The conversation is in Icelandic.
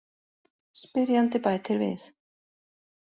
Spyrjandi bætir við: